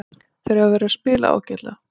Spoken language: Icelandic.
Þeir hafa verið að spila alveg ágætlega.